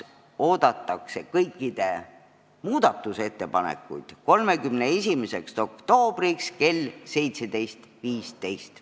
Kõikide muudatusettepanekuid oodatakse 31. oktoobriks kella 17.15-ks.